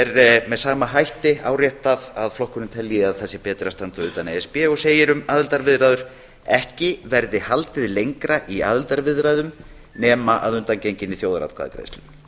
er með sama hætti áréttað að flokkurinn telji að það sé betra að standa utan e s b og segir um aðildarviðræður ekki verði haldið lengra í aðildarviðræðum nema að undangenginni þjóðaratkvæðagreiðslu